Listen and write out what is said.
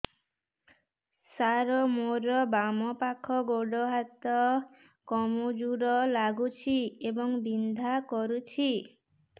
ସାର ମୋର ବାମ ପାଖ ଗୋଡ ହାତ କମଜୁର ଲାଗୁଛି ଏବଂ ବିନ୍ଧା କରୁଛି